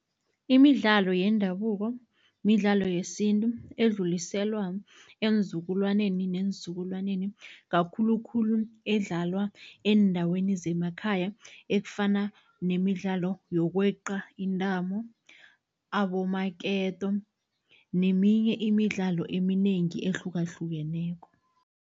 Imidlalo yendabuko midlalo yesintu edluliselwa eenzukulwaneni neenzukulwaneni, kakhulukhulu edlalwa eendaweni zemakhaya ekufana nemidlalo yokweqa intambo, abomaketo neminye imidlalo eminengi ehlukahlukeneko.